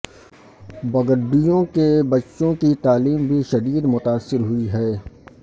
بگٹیوں کے بچوں کی تعلیم بھی شدید متاثر ہوئی ہے